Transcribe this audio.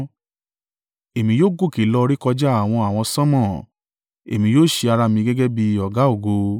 Èmi yóò gòkè lọ rékọjá àwọn àwọsánmọ̀; èmi yóò ṣe ara mi gẹ́gẹ́ bí Ọ̀gá-ògo.”